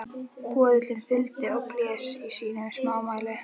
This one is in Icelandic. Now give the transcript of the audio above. Böðullinn þuldi og blés í sínu smámæli